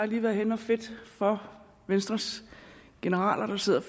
lige været henne at fedte for venstres generaler der sidder